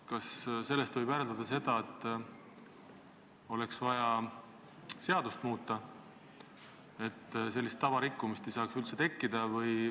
Kas sellest võib järeldada, et oleks vaja seadust muuta, et sellist tava rikkumist ei saaks üldse olla?